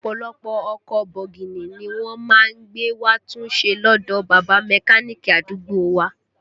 Ọ̀pọ̀lọpọ̀ ọkọ̀ bọ̀gìnì ni wọ́n má ń gbé wá tún ṣe lọdọ bàbá Mẹ́káníìkì àdúgbò wa